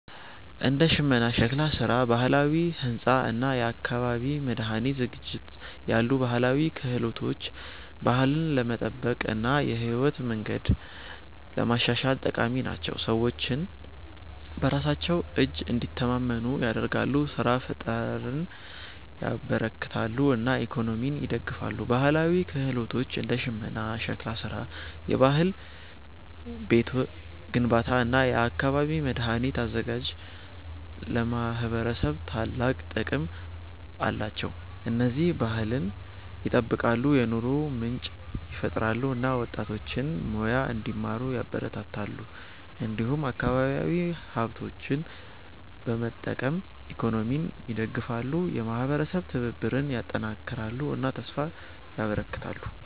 እንደ ሽመና፣ ሸክላ ስራ፣ ባህላዊ ሕንፃ እና የአካባቢ መድኃኒት ዝግጅት ያሉ ባህላዊ ክህሎቶች ባህልን ለመጠበቅ እና የህይወት መንገድን ለማሻሻል ጠቃሚ ናቸው። ሰዎችን በራሳቸው እጅ እንዲተማመኑ ያደርጋሉ፣ ስራ ፍጠርን ያበረክታሉ እና ኢኮኖሚን ይደግፋሉ። ባህላዊ ክህሎቶች እንደ ሽመና፣ ሸክላ ስራ፣ የባህላዊ ቤት ግንባታ እና የአካባቢ መድኃኒት አዘጋጅት ለማህበረሰብ ታላቅ ጥቅም አላቸው። እነዚህ ባህልን ይጠብቃሉ፣ የኑሮ ምንጭ ይፈጥራሉ እና ወጣቶችን ሙያ እንዲማሩ ያበረታታሉ። እንዲሁም አካባቢያዊ ሀብቶችን በመጠቀም ኢኮኖሚን ይደግፋሉ፣ የማህበረሰብ ትብብርን ያጠናክራሉ እና ተስፋ ያበረክታሉ።